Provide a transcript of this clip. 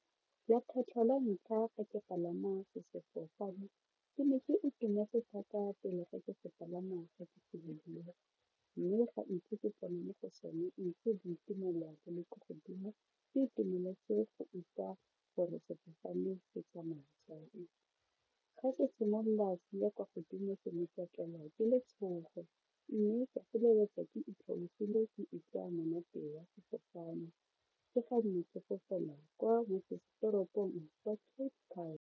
Ya kgetlho la ntlha fa ke palama sefofane ke ne ke ke itumetse thata pele fa ke sepalama boitumelo bo le kwa godimo ka itumeletse go utlwa gore sefofane se tsamaya jang ka simolola se ya kwa godimo ke ne ka tlelwa ke letshogo mme ka feleletsa ke itlhobogile ke utlwa monate wa sefofane ke fa ne ke fofela kwa motsesetoropong wa Cape Town.